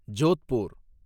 Jodhpur